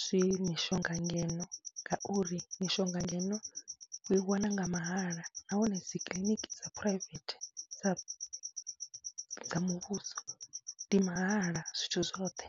zwi mishonga ngeno ngauri mishonga ngeno u i wana nga mahala nahone dzi kiḽiniki dza phuraivethe, dza dza muvhuso ndi mahala zwithu zwoṱhe.